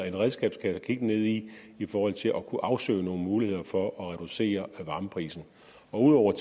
en redskabskasse at kigge ned i i forhold til at kunne afsøge nogle muligheder for at reducere varmeprisen udover